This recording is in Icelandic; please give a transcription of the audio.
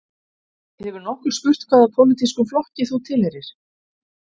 Hefur nokkur spurt hvaða pólitískum flokki þú tilheyrir